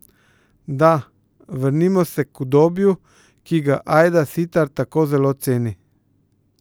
Da, vrnimo se k udobju, ki ga Ajda Sitar tako zelo ceni.